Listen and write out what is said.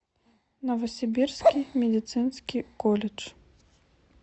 новосибирский медицинский колледж